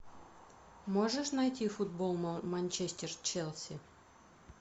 можешь найти футбол манчестер челси